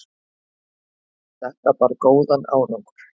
Þetta bar góðan árangur.